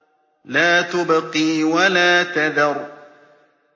لَا تُبْقِي وَلَا تَذَرُ